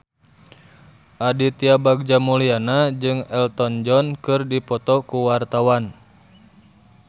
Aditya Bagja Mulyana jeung Elton John keur dipoto ku wartawan